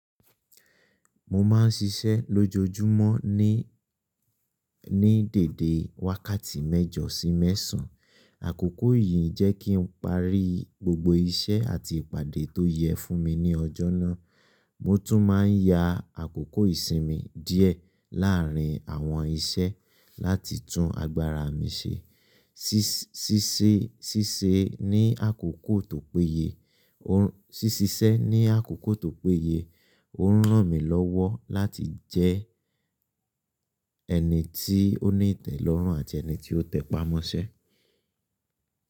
Mo ma ń ṣiṣẹ́ lójoojúmọ́ ní dèèdè wákàtí mẹ́jọ sí mẹ́sán. Àkókò yìí jẹ́ kí n parí gbogbo iṣẹ́ àti ìpàdé tó yẹ fún mi ní ọjọ́ náà. Mo tún ma ń ya àkókò ìsinmi díẹ̀ láàrin àwọn iṣẹ́ láti tún agbára mi ṣe. Síṣẹ́ ní àkókò tó péye, òhun ràn mí lọ́wọ́ láti jẹ́ ẹni tí ó ní ìtẹ́lọ́rùn àti ẹni tí ó tẹpamọ́ṣẹ́.